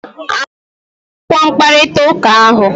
A hụghị m akwụkwọ mkparịta ụka ahụ.